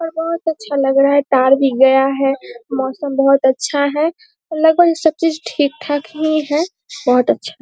बहुत अच्छा लग रहा है तार भी गया है मौसम बहुत अच्छा है और लगभग सब चीज ठीक-ठाक ही है बहुत अच्छा --